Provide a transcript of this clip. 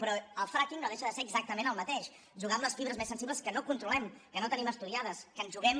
però el fracking no deixa de ser exactament el mateix jugar amb les fibres més sensibles que no controlem que no tenim estudiades que ens juguem